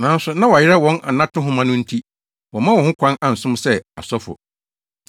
Nanso, na wɔayera wɔn anato nhoma no nti wɔmma wɔn ho kwan ansom sɛ asɔfo.